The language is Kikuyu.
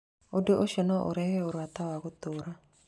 Ũndũ ũcio no ũrehe ũrata wa gũtũũra.